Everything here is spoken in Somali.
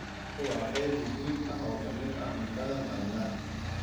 Kalluunku waa qayb muhiim ah oo ka mid ah cuntada maalinlaha ah.